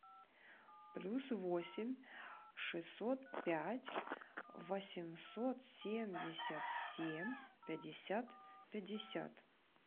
плюс восемь шестьсот пять восемьсот семьдесят семь пятьдесят пятьдесят